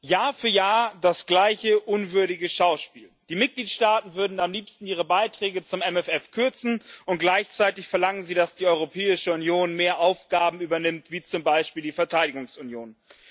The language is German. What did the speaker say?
Jahr für Jahr das gleiche unwürdige Schauspiel Die Mitgliedstaaten würden am liebsten ihre Beiträge zum MFR kürzen, und gleichzeitig verlangen sie, dass die Europäische Union mehr Aufgaben übernimmt, wie zum Beispiel die Verteidigungsunion.